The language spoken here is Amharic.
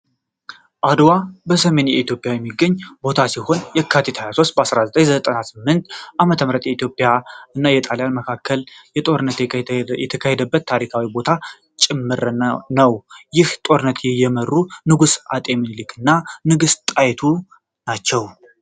አድዋ በሰሜን ኢትዮጵያ የሚገኝ ቦታ ሲሆን የካቲት 23 1988 ዓ.ም በኢትዮጵያ እና በጣልያን መካከል ጦርነት የታካሄደበት ታሪካዊ ቦታም ጭምር ነው ይህን ጦርነት የመሩት ንጉሡ አጤ ሚኒልክ እና ንግስት ጣይቱ ናቸው።